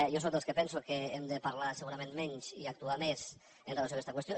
jo sóc dels que penso que hem de parlar segurament menys i actuar més amb relació a aquesta qüestió